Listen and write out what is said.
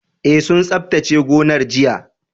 E sun tsaftace gonar jiya